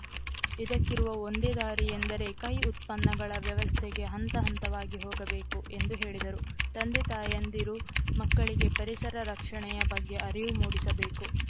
ಇದಕ್ಕಿರುವ ಒಂದೇ ದಾರಿ ಎಂದರೆ ಕೈ ಉತ್ಪನ್ನಗಳ ವ್ಯಸವಸ್ಥೆಗೆ ಹಂತ ಹಂತವಾಗಿ ಹೋಗಬೇಕು ಎಂದು ಹೇಳಿದರು ತಂದೆತಾಯಂದಿರು ಮಕ್ಕಳಿಗೆ ಪರಿಸರ ರಕ್ಷಣೆಯ ಬಗ್ಗೆ ಅರಿವು ಮೂಡಿಸಬೇಕು